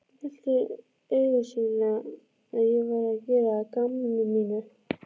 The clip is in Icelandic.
Hélt augsýnilega að ég væri að gera að gamni mínu.